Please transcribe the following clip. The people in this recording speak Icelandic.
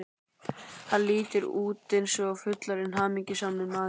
Hann lítur út eins og fullorðinn hamingjusamur maður.